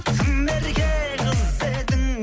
тым ерке қыз едің